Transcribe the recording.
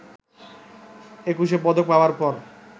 একুশে পদক পাবার পর